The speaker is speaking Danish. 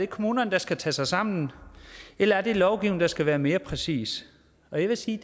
kommunerne der skal tage sig sammen eller er det lovgivningen der skal være mere præcis og jeg vil sige